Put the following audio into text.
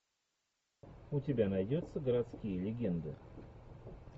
у тебя найдется городские легенды